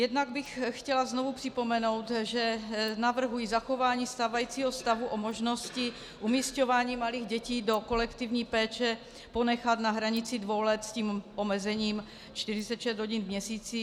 Jednak bych chtěla znovu připomenout, že navrhuji zachování stávajícího stavu o možnosti umísťování malých dětí do kolektivní péče ponechat na hranici dvou let s tím omezením 46 hodin v měsíci.